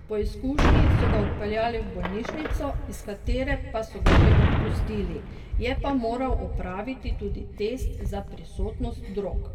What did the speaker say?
Po izkušnji so ga odpeljali v bolnišnico, iz katere pa so ga že odpustili, je pa moral opraviti tudi test za prisotnost drog.